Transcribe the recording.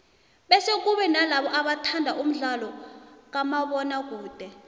bese kube nalabo abathanda umdlalo kamabona kude